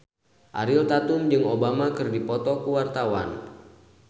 Ariel Tatum jeung Obama keur dipoto ku wartawan